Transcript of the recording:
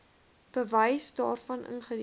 bewys daarvan ingedien